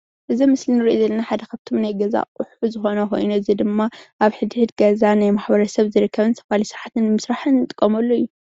እዚ አብ ምስሊ እንሪኦ ዘለና ሓደ ካብቶም ናይገዛ አቁሑ ዝኾነ ኮይኑ እዚ ድማ አብ ሕድሕድ ገዛ ናይ ማሕበረሰብ ዝርከብን ዝተፈላለዩ ስራሕቲ ንምስራሕ እንጥቀመሉ እዩ።